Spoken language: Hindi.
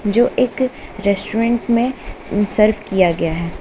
जो एक रेस्टोरेंट में सर्व किया गया है।